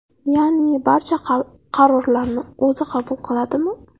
Ya’ni barcha qarorlarni o‘zi qabul qiladimi?